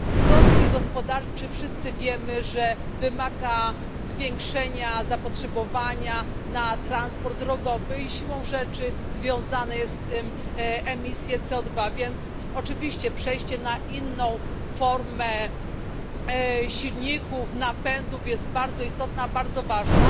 Rozwój gospodarczy, wszyscy wiemy, że wymaga zwiększenia zapotrzebowania na transport drogowy i siłą rzeczy związane są z tym emisje CO2, więc oczywiście przejście na inną formę silników, napędów jest bardzo istotne, bardzo ważne,